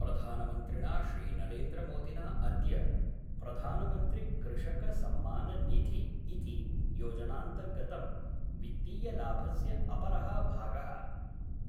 प्रधानमन्त्रिणा श्रीनरेन्द्रमोदिना अद्य प्रधानमन्त्रिकृषकसम्माननिधि इति योजनान्तर्गतं वित्तीयलाभस्य अपरः भागः